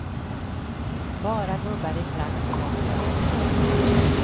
Bara gubbar i frack så långt ögat når.